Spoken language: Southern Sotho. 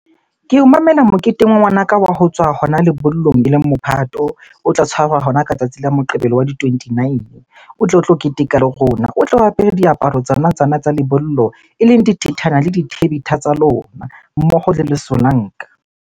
Ke o memela moketengwa ngwanaka wa ho tswa hona lebollong, eleng mophato. O tla tshwarwa hona ka tsatsi la Moqebelo wa di-twenty-nine. O tle o tlo keteka le rona. O tle o apere diaparo tsona tsa lebollo eleng dithethana le dithebetha tsa lona, mmoho le lesolanka.